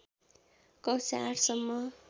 कक्षा ८ सम्म